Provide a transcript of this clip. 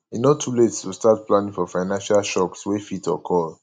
e no too late to start planning for financial shocks wey fit occur